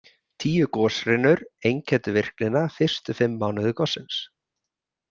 Tíu goshrinur einkenndu virknina fyrstu fimm mánuði gossins.